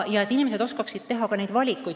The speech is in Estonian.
Inimesed peavad oskama valikuid teha.